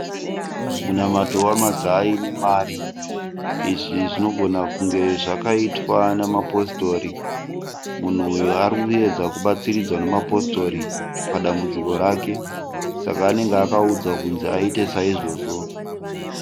Munamato wamazai nemari. Izvi zvinogona kunge zvakaitwa neMapositori. Munhu uyu ari kuedza kubatsiridzwa neMapositori padambudziko rake saka anenge akaudzwa kuti aite saizvozvo.